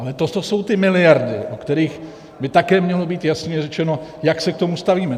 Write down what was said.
Ale to jsou ty miliardy, o kterých by také mělo být jasně řečeno, jak se k tomu stavíme.